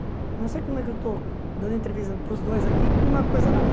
Não sei como é que eu estou dando entrevista para os dois aqui com uma coisa na mão.